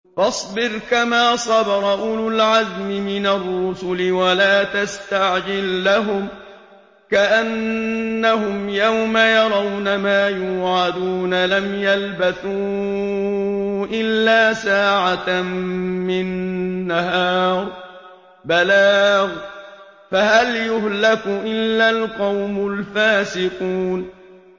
فَاصْبِرْ كَمَا صَبَرَ أُولُو الْعَزْمِ مِنَ الرُّسُلِ وَلَا تَسْتَعْجِل لَّهُمْ ۚ كَأَنَّهُمْ يَوْمَ يَرَوْنَ مَا يُوعَدُونَ لَمْ يَلْبَثُوا إِلَّا سَاعَةً مِّن نَّهَارٍ ۚ بَلَاغٌ ۚ فَهَلْ يُهْلَكُ إِلَّا الْقَوْمُ الْفَاسِقُونَ